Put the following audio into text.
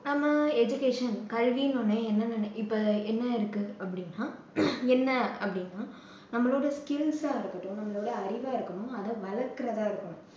நம்ம education கல்வின்ன உடனே என்ன நினை~ இப்போ என்ன இருக்கு அப்படின்னா என்ன அப்படின்னா நம்பளோட skills ஆ இருக்கட்டும் நம்மளோட அறிவா இருக்கட்டும் அதை வளர்க்கிறதா இருக்கட்டும்